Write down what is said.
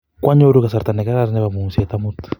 Kwanyoru kasarta nekararan nepo mung'set amut